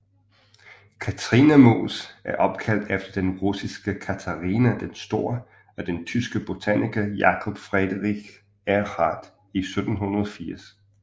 Katrinemos er opkaldt efter den russiske Katharina den Store af den tyske botaniker Jakob Friedrich Ehrhart i 1780